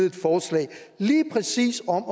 et forslag lige præcis om